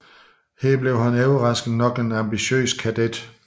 Her blev han overraskende nok en ambitiøs kadet